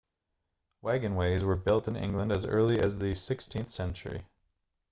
wagonways were built in england as early as the 16th century